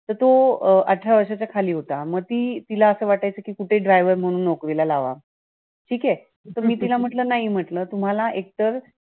तर तो अं अठरा वर्षाच्या खाली होता. मग ती तिला असं वाटायचं कि कुठे driver म्हणून नोकरीला लावावा. ठीकेय? तर मी तिला म्हटल नाई म्हटल. तुम्हाला एकतर